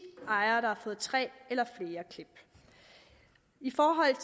ejere der har fået tre eller flere klip i forhold